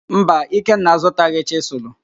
Mba, Ikenna azụtaghị chịsụlụ.